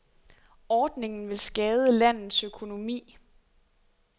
Ordningen vil skade landets økonomi.